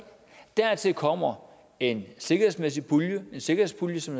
dertil kommer en sikkerhedspulje sikkerhedspulje som